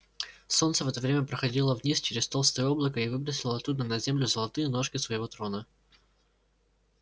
солнце в это время проходило вниз через толстое облако и выбросило оттуда на землю золотые ножки своего трона